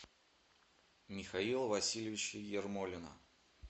михаила васильевича ермолина